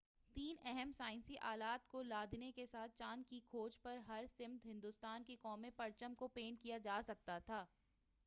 تین اہم سائنسی آلات کو لادنے کے ساتھ چاند کی کھوج پر ہر سمت ہندوستان کے قومی پرچم کو پینٹ کیا گیا تھا